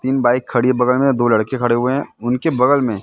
तीन बाइक खड़ी हैं बगल मैं दो लड़के खडे हुए हैं उनके बगल मे--